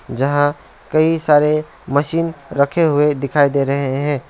जहां सारे मशीन रखे हुए दिखाई दे रहे हैं।